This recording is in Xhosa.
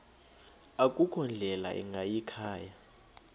akukho ndlela ingayikhaya